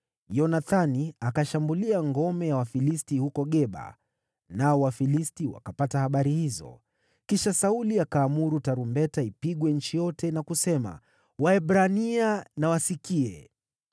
Yonathani akashambulia ngome ya Wafilisti huko Geba, nao Wafilisti wakapata habari hizo. Kisha Sauli akaamuru tarumbeta ipigwe nchi yote na kusema, “Waebrania na wasikie!”